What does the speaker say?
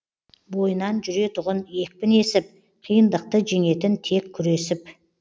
бойынан жүретұғын екпін есіп қиындықты жеңетін тек күресіп